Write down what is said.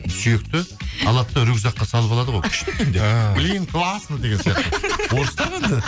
сүйекті алады да рюкзакқа салып алады ғой күшті екен деп ііі блин классно деген сияқты орыстар ғой енді